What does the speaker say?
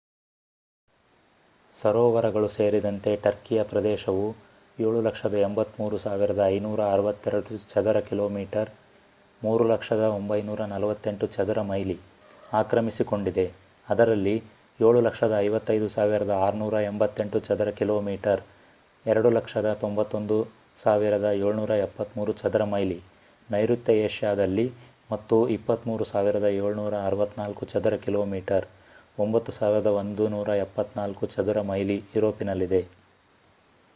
ಸರೋವರಗಳು ಸೇರಿದಂತೆ ಟರ್ಕಿಯ ಪ್ರದೇಶವು 783,562 ಚದರ ಕಿಲೋಮೀಟರ್ 300,948 ಚದರ ಮೈಲಿ ಆಕ್ರಮಿಸಿಕೊಂಡಿದೆ ಅದರಲ್ಲಿ 755,688 ಚದರ ಕಿಲೋಮೀಟರ್ 291,773 ಚದರ ಮೈಲಿ ನೈರುತ್ಯ ಏಷ್ಯಾದಲ್ಲಿ ಮತ್ತು 23,764 ಚದರ ಕಿಲೋಮೀಟರ್ 9,174 ಚದರ ಮೈಲಿ ಯುರೋಪಿನಲ್ಲಿದೆ